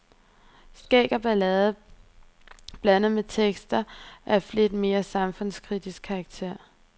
Skæg og ballade blandet med tekster af lidt mere samfundskritisk karakter.